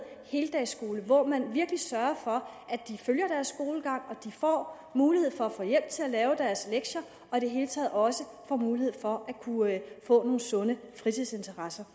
heldagsskole hvor man virkelig sørger for at de følger deres skolegang får mulighed for hjælp til at lave deres lektier og i det hele taget også får mulighed for at kunne få nogle sunde fritidsinteresser